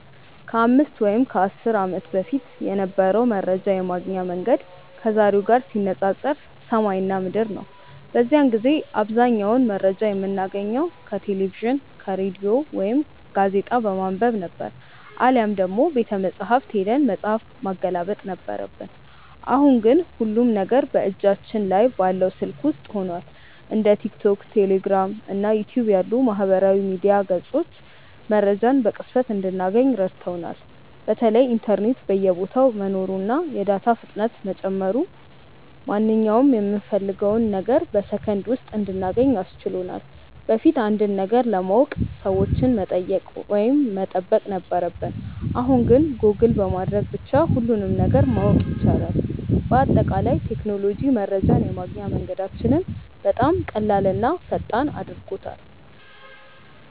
ከ5 ወይም ከ10 ዓመት በፊት የነበረው መረጃ የማግኛ መንገድ ከዛሬው ጋር ሲነፃፀር ሰማይና ምድር ነው። በዚያን ጊዜ አብዛኛውን መረጃ የምናገኘው ከቴሌቪዥን፣ ከሬዲዮ ወይም ጋዜጣ በማንበብ ነበር፤ አሊያም ደግሞ ቤተመጻሕፍት ሄደን መጽሐፍ ማገላበጥ ነበረብን። አሁን ግን ሁሉም ነገር በእጃችን ላይ ባለው ስልክ ውስጥ ሆኗል። እንደ ቲክቶክ፣ ቴሌግራም እና ዩቲዩብ ያሉ የማህበራዊ ሚዲያ ገጾች መረጃን በቅጽበት እንድናገኝ ረድተውናል። በተለይ ኢንተርኔት በየቦታው መኖሩና የዳታ ፍጥነት መጨመሩ ማንኛውንም የምንፈልገውን ነገር በሰከንድ ውስጥ እንድናገኝ አስችሎናል። በፊት አንድን ነገር ለማወቅ ሰዎችን መጠየቅ ወይም መጠበቅ ነበረብን፣ አሁን ግን ጎግል በማድረግ ብቻ ሁሉንም ነገር ማወቅ ይቻላል። በአጠቃላይ ቴክኖሎጂ መረጃን የማግኛ መንገዳችንን በጣም ቀላልና ፈጣን አድርጎታል።